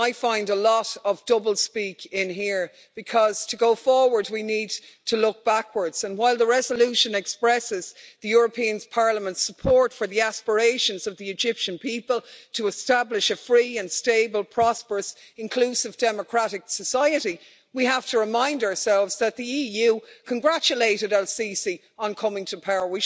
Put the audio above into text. I find a lot of double speak in here, because to go forward we need to look backwards, and while the Resolution expresses European Parliament's support for the aspirations of the Egyptian people to establish a free and stable, prosperous, inclusive democratic society, we have to remind ourselves that the EU congratulated el Sisi on coming to power.